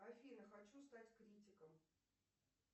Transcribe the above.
афина хочу стать критиком